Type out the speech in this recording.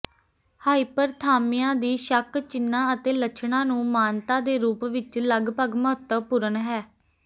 hyperthermia ਦੀ ਸ਼ੱਕ ਚਿੰਨ੍ਹਾਂ ਅਤੇ ਲੱਛਣਾਂ ਨੂੰ ਮਾਨਤਾ ਦੇ ਰੂਪ ਵਿੱਚ ਲਗਭਗ ਮਹੱਤਵਪੂਰਨ ਹੈ